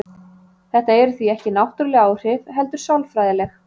Þetta eru því ekki náttúruleg áhrif heldur sálfræðileg.